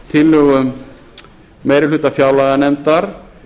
tillögum meiri hluta fjárlaganefndar